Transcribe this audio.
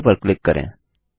okay पर click करें